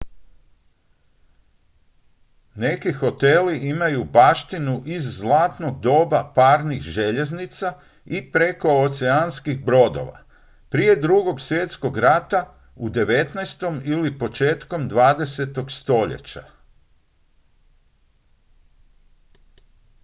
neki hoteli imaju baštinu iz zlatnog doba parnih željeznica i prekooceanskih brodova prije drugog svjetskog rata u 19. ili početkom 20. stoljeća